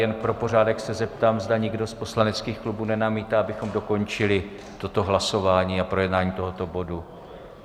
Jen pro pořádek se zeptám, zda někdo z poslaneckých klubů nenamítá, abychom dokončili toto hlasování a projednání tohoto bodu.